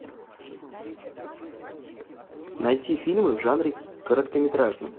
найти фильмы в жанре короткометражный